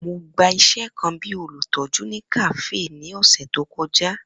Mo gba iṣẹ kan bi olutọju ni kafe ni ọsẹ to kọja.